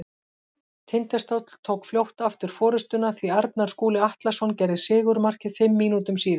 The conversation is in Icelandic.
Tindastóll tók fljótt aftur forystuna því Arnar Skúli Atlason gerði sigurmarkið fimm mínútum síðar.